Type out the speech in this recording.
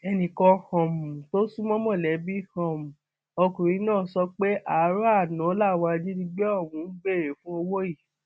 ẹnìkan um tó sún mọ mọlẹbí um ọkùnrin náà sọ pé àárò àná làwọn ajínigbé ọhún béèrè fún owó yìí